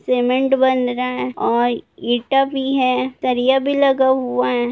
Cement बन रहा है और ईटा भी है सरिया भी लगा हुआ है।